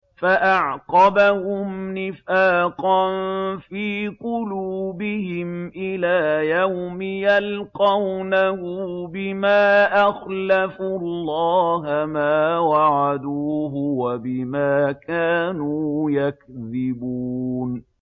فَأَعْقَبَهُمْ نِفَاقًا فِي قُلُوبِهِمْ إِلَىٰ يَوْمِ يَلْقَوْنَهُ بِمَا أَخْلَفُوا اللَّهَ مَا وَعَدُوهُ وَبِمَا كَانُوا يَكْذِبُونَ